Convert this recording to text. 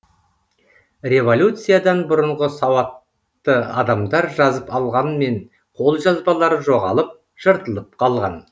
революциядан бұрынғы сауатты адамдар жазып алғанмен қолжазбалары жоғалып жыртылып қалған